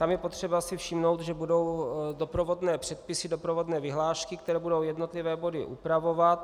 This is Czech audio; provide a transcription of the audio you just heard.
Tam je potřeba si všimnout, že budou doprovodné předpisy, doprovodné vyhlášky, které budou jednotlivé body upravovat.